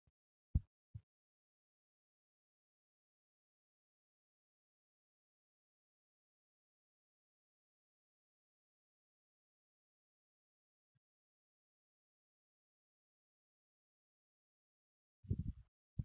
Meeshaan elektirooniksii kun maqaan isaa firiijii yookin kottoleessaa kan jedhamu yoo ta'u, meeshaa ammayyaa dhugaatii fi nyaata garaa garaa qorrisiisee yeroo dheeraa tursiisuuf fayyaduu dha. Firiijiin humna ibsaa elektirikaa fayyadamuun dalagaa hedduu kenna.